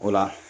O la